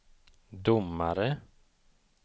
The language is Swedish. domare